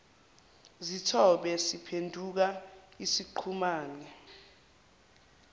zithombe siphenduka isiqhumane